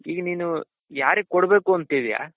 ಈಗ ನೀನು ಯಾರಿಗ್ ಕೊಡ್ಬೇಕು ಅಂತಿದ್ದೀಯ.